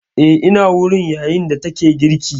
Eh ina wurin, yayin da take girki